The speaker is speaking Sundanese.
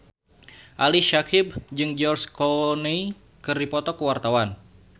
Ali Syakieb jeung George Clooney keur dipoto ku wartawan